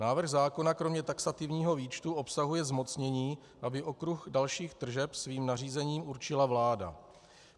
Návrh zákona kromě taxativního výčtu obsahuje zmocnění, aby okruh dalších tržeb svým nařízením určila vláda.